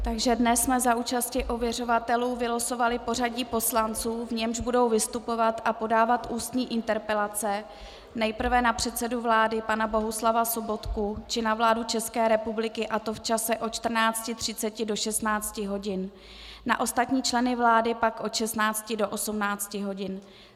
Takže dnes jsme za účasti ověřovatelů vylosovali pořadí poslanců, v němž budou vystupovat a podávat ústní interpelace, nejprve na předsedu vlády pana Bohuslava Sobotku či na vládu České republiky, a to v čase od 14.30 do 16 hodin, na ostatní členy vlády pak od 16 do 18 hodin.